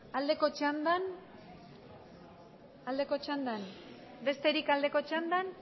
aldeko txandan besterik aldeko txandan